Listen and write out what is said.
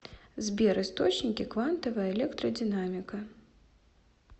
сбер источники квантовая электродинамика